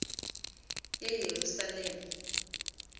yeyerusalem